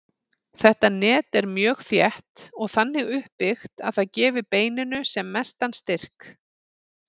Þetta net er mjög þétt og þannig uppbyggt að það gefi beininu sem mestan styrk.